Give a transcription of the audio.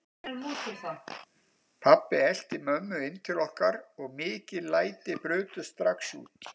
Pabbi elti mömmu inn til okkar og mikil læti brutust strax út.